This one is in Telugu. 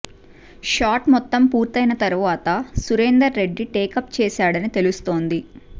షాట్ మొత్తం పూర్తయిన తరువాత సురేందర్ రెడ్డి టేకప్ చేశాడని తెలుస్తోంది